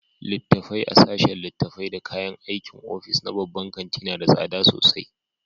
Littattafai a sashen littattafai da kayan aikin ofis na babban kanti na da tsada sosai.